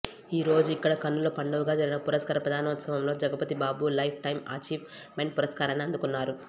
ఈ రోజిక్కడ కన్నుల పండువగా జరిగిన పురస్కార ప్రదానోత్సవంలో Jagapathi Babu lifetime achievement పురస్కారాన్ని అందుకున్నారు